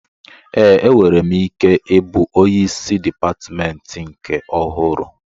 Ee, enwere m ike ịbụ onyeisi dịpatmentị nke ọhụrụ